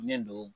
Ne don